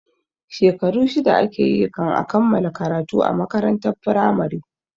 Shekaru shida ake yi kan a kammala karatu a makarantar firamare